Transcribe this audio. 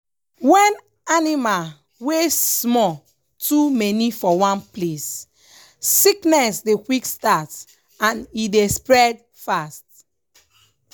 when animal wey small too many for one place sickness dey quick start and e dey spread fast.